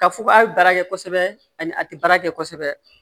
Ka fugu a bɛ baara kɛ kosɛbɛ ani a tɛ baara kɛ kosɛbɛ